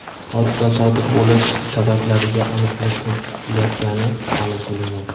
hodisa sodir bo‘lish sabablariga aniqlik kiritilayotgani ma’lum qilindi.